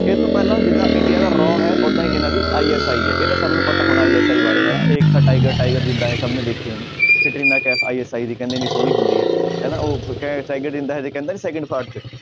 ਇਹ ਤੋਂ ਪਹਿਲਾਂ ਜਿੱਦਾਂ ਇੰਡੀਆ ਦਾ raw ਹੈ ਓਦਾਂ ਹੀ ਇਹਨਾਂ ਦੀ ISI ਹੈ ਇਹ ਤਾਂ ਸਭ ਨੂੰ ਪਤਾ ਹੋਣਾ ISI ਬਾਰੇ ਏਕ ਥਾ ਟਾਈਗਰ, ਟਾਈਗਰ ਜ਼ਿੰਦਾ ਹੈ ਸਭ ਨੇ ਦੇਖੀ ਹੋਣੀ ਕੰਟਰੀਨਾ ਕੈਫ਼ ISI ਦੀ ਸੋਹਣੀ ਹੁੰਦੀ ਹੈ ਹਨਾ ਉਹ ਟਾਈਗਰ ਜ਼ਿੰਦਾ ਹੈ 'ਚ ਕਹਿੰਦਾ ਨੀ ਸੈਕੰਡ part 'ਚ